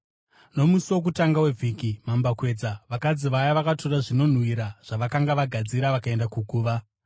Nomusi wokutanga wevhiki, mambakwedza, vakadzi vaya vakatora zvinonhuhwira zvavakanga vagadzira vakaenda kuguva.